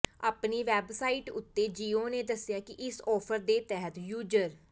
ਆਪਣੀ ਵੇਬਸਾਈਟ ਉੱਤੇ ਜੀਓ ਨੇ ਦੱਸਿਆ ਕਿ ਇਸ ਆਫਰ ਦੇ ਤਹਿਤ ਯੂਜਰ